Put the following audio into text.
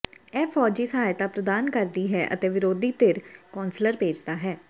ਇਹ ਫੌਜੀ ਸਹਾਇਤਾ ਪ੍ਰਦਾਨ ਕਰਦੀ ਹੈ ਅਤੇ ਵਿਰੋਧੀ ਧਿਰ ਕੌਸਲਰ ਭੇਜਦਾ ਹੈ